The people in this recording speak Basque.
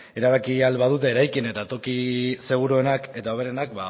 erabaki ahal badute eraikin eta toki seguruenak eta hoberenak